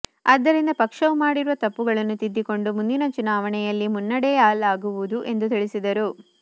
ಆದ್ದರಿಂದ ಪಕ್ಷವು ಮಾಡಿರುವ ತಪ್ಪುಗಳನ್ನು ತಿದ್ದಿಕೊಂಡು ಮುಂದಿನ ಚುನಾವಣೆಯಲ್ಲಿ ಮುನ್ನಡೆಯಲಾಗುವುದು ಎಂದು ತಿಳಿಸಿದರು